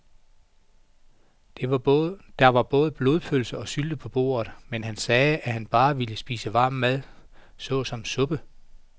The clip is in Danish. Der var både blodpølse og sylte på bordet, men han sagde, at han bare ville spise varm mad såsom suppe.